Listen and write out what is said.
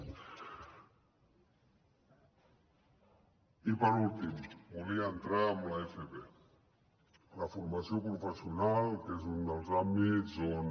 i per últim volia entrar en l’fp la formació professional que és un dels àmbits on